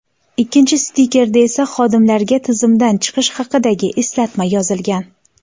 Ikkinchi stikerda esa xodimlarga tizimdan chiqish haqidagi eslatma yozilgan.